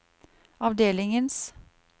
avdelingens